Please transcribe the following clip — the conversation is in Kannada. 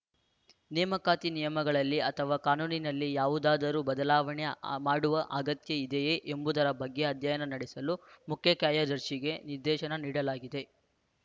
ನೇಮಕಾತಿ ನಿಯಮಗಳಲ್ಲಿ ಅಥವಾ ಕಾನೂನಿನಲ್ಲಿ ಯಾವುದಾದರೂ ಬದಲಾವಣೆ ಆ ಮಾಡುವ ಅಗತ್ಯ ಇದೆಯೇ ಎಂಬುದರ ಬಗ್ಗೆ ಅಧ್ಯಯನ ನಡೆಸಲು ಮುಖ್ಯಕಾರ್ಯದರ್ಶಿಗೆ ನಿರ್ದೇಶನ ನೀಡಲಾಗಿದೆ